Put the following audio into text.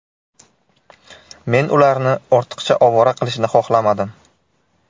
Men ularni ortiqcha ovora qilishni xohlamadim.